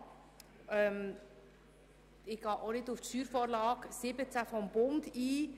Ich gehe auch nicht auf die Steuervorlage 2017 des Bundes ein.